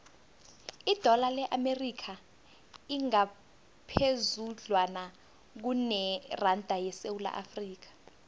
idola le amerika lingaphezudlwana kuneranda yesewula afrika